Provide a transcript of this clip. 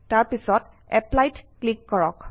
তাৰপিছত Apply ত click কৰক